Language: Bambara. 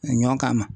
A ɲɔn kama